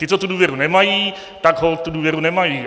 Ti, co tu důvěru nemají, tak holt tu důvěru nemají.